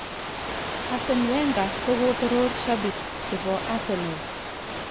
Arsene Wenger kokotoror shabik chebo Arsenal.